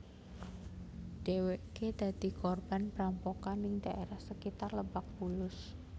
Dheweké dadi korban perampokan ning daerah sakitar Lebak Bulus